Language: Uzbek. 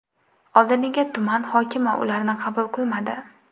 Oldiniga tuman hokimi ularni qabul qilmadi.